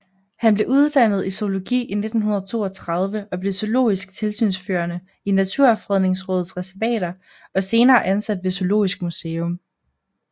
Han blev uddannet i zoologi i 1932 og blev zoologisk tilsynsførende i Naturfredningsrådets reservater og senere ansat ved Zoologisk Museum